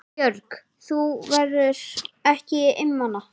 Björg: Þú verður ekki einmana?